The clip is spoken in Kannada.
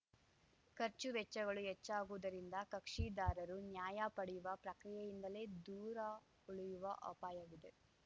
ಖರ್ಚು ವೆಚ್ಚಗಳು ಹೆಚ್ಚಾಗುವುದರಿಂದ ಕಕ್ಷಿದಾರರು ನ್ಯಾಯ ಪಡೆಯುವ ಪ್ರಕ್ರಿಯೆಯಿಂದಲೆ ದೂರ ಉಳಿಯುವ ಅಪಾಯವಿದೆ